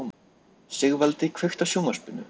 Sigvaldi, kveiktu á sjónvarpinu.